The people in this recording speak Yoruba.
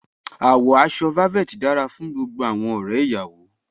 Àwọ̀ aṣọ velvet dára fún gbogbo àwọn ọ̀rẹ́ ìyàwó.